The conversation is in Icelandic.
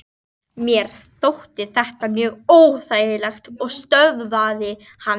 Mér þótti þetta mjög óþægilegt og stöðvaði hann.